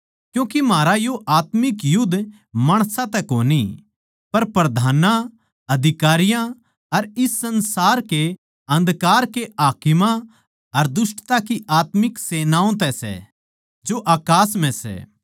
क्यूँके म्हारा यो आत्मिक युध्द माणसां तै कोनी पर प्रधानां अधिकारियां अर इस संसार के अन्धकार के हाकिमां अर दुष्टता की आत्मिक सेनाओं तै सै जो अकास म्ह सै